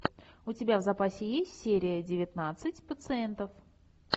у тебя в запасе есть серия девятнадцать пациентов